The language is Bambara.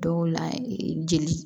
Dɔw la jeli